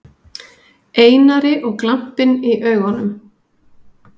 Einari og glampinn í augunum.